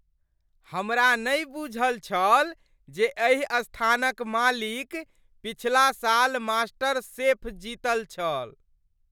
हमरा नहि बूझल छल जे एहि स्थानक मालिक पिछ्ला साल मास्टरशेफ जीतल छल।